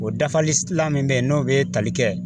O dafalilan min bɛ yen n'o bɛ tali kɛ